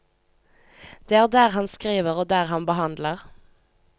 Det er der han skriver og der han behandler.